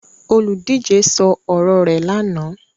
Olùdíje sọ ọ̀rọ̀ rẹ̀ lánàá.